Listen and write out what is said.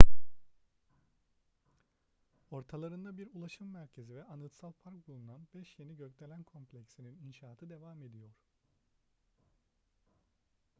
ortalarında bir ulaşım merkezi ve anıtsal park bulunan beş yeni gökdelen kompleksinin inşaatı devam ediyor